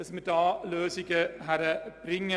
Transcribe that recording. ich kann es nicht anders formulieren.